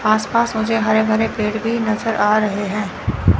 आसपास मुझे हरे भरे पेड़ भी नजर आ रहे हैं।